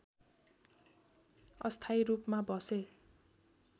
अस्थायी रूपमा बसे